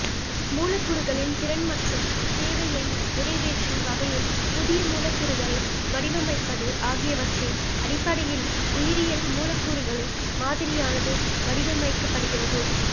மூலக்கூறுகளின் திறன் மற்றும் தேவையை நிறைவேற்றும் வகையில் புதிய மூலக்கூறுகளை வடிவமைப்பது ஆகியவற்றின் அடிப்படையில் உயிரியல் மூலக்கூறுகளின் மாதிரியானது வடிவமைக்கப்படுகிறது